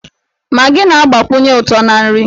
Magị na-agbakwụnye ụtọ na nri.